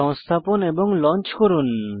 সংস্থাপন এবং লঞ্চ করুন